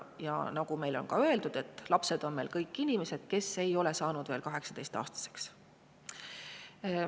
Ja nagu on ka meile öeldud, lapsed on kõik inimesed, kes ei ole saanud veel 18-aastaseks.